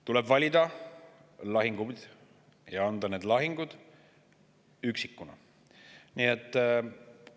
Tuleb valida lahinguid ja neid lahinguid üks.